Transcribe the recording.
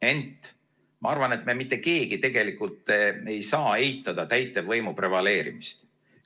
Ent ma arvan, et mitte keegi ei saa eitada täitevvõimu prevaleerimist.